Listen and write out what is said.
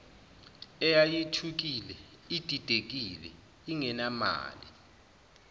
eyayithukile ididekile ingenamali